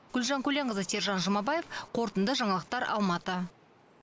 гүлжан көленқызы сержан жұмабаев қорытынды жаңалықтар алматы